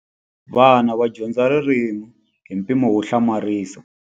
Vana va dyondza ririmi hi mpimo wo hlamarisa.